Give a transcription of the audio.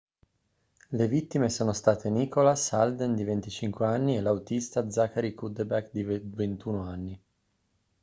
le vittime sono state nicholas alden di 25 anni e l'autista zachary cuddeback di 21 anni